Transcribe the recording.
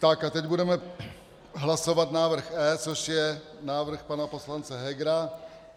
Tak a teď budeme hlasovat návrh E, což je návrh pana poslance Hegera.